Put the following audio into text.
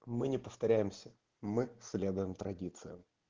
мы не повторяемся мы следуем традициям